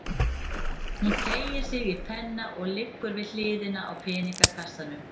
Hún teygir sig í penna sem liggur við hliðina á peningakassanum.